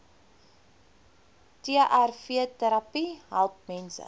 trvterapie help mense